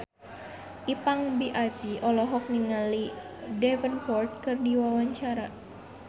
Ipank BIP olohok ningali Jack Davenport keur diwawancara